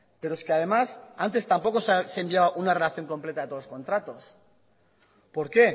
pero es que además antes tampoco se enviaba una relación completa de todos los contratos por qué